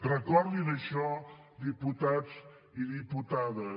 recordin això diputats i diputades